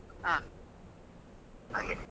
ಹಾ ಹಾಗೆ.